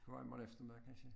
Du har i morgen eftermiddag kansje